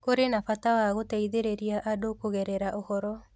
Kũrĩ na bata wa gũteithĩrĩria andũ kũgerera ũhoro